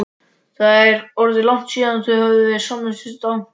Það var orðið langt síðan þau höfðu verið samvistum daglangt.